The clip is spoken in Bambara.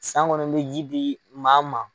San gɔnɔn n mi ji di maa ma